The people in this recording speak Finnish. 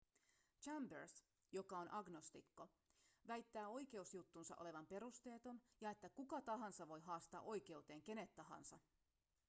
chambers joka on agnostikko väittää oikeusjuttunsa olevan perusteeton ja että kuka tahansa voi haastaa oikeuteen kenet tahansa